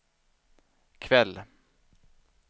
kväll